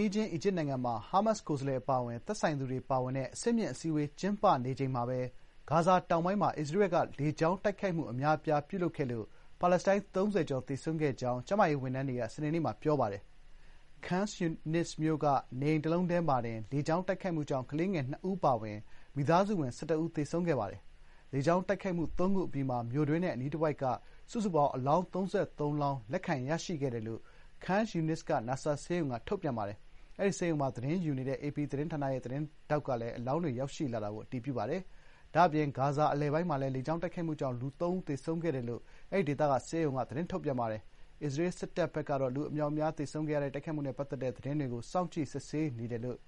နီးချင်း အီဂျစ်နိုင်ငံမှာ ဟားမတ်စ် ကိုယ်စားလှယ် အပါအဝင် သက်ဆိုင်သူတွေ ပါဝင်တဲ့ အဆင့်မြင့် အစည်းအဝေး ကျင်းပနေချိန်မှာပဲ ဂါဇာ တောင်ပိုင်းမှာ အစ္စရေးဘက်က လေကြောင်း တိုက်ခိုက်မှု အများအပြား ပြုလုပ်ခဲ့လို့ ပါလက်စတိုင်း ၃၀ ဆယ်ကျော် သေဆုံးခဲ့ကြောင်း ကျန်းမာရေး ဝန်ထမ်းတွေက စနေနေ့မှာ ပြောပါတယ်။ ခန်းယူနစ် (Khan Younis) မြို့က နေအိမ် တလုံးတည်းမှာတင် လေကြောင်း တိုက်ခိုက်မှု ကြောင့် ကလေးငယ် ၂ ဦးအပါအဝင် မိသားစုဝင် ၁၁ ဦး သေဆုံးခဲ့ပါတယ်။ လေကြာင်း တိုက်ခိုက်မှု ၃ ခု အပြီးမှာ မြို့တွင်းနဲ့ အနီးတတဝိုက်က စုစုပေါင်း အလောင်း ၃၃ လောင်း လက်ခံရရှိခဲ့တယ်လို့ ခန်းယူနစ်က Nasser ဆေးရုံက ထုတ်ပြန်ပါတယ်။ အဲဒီ ဆေးရုံမှာ သတင်းယူနေတဲ့ အေပီ သတင်းဌာနရဲ့ သတင်းထောက်က လည်း အလောင်းတွေ ရောက်ရှိလာတာကို အတည်ပြုပါတယ်။ ဒါ့အပြင် ဂါဇာ အလယ်ပိုင်းမှာလည်း လေကြောင်း တိုက်ခိုက်မှုကြောင်း လူ ၃ ဦး သေဆုံးခဲ့တယ်လို့ အဲဒီက Al-Aqsa Martyrs ဆေးရုံက ပြောပါတယ်။ အစ္စရေးစစ်တပ်ဘက်ကတော့ လူ အမြောက်အမြားသေဆုံးရတဲ့ တိုက်ခိုက်မှုနဲ့ ပတ်သက်တဲ့ သတင်းတွေကို စောင့်ကြည့် စစ်ဆေးနေတယ်လို့